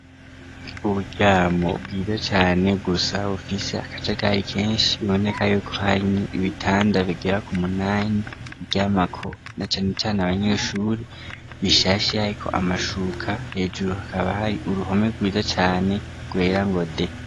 Uburyamo bwiza cane gusa bufise akaja gari kenshi biboneka yuko harimwo ibitanda bigera ku munanyi baryamako na canecane abanyeshuri bishashe hahiko amashuka hejuru hakaba hari uruhome rwiza cane rwera ngo de.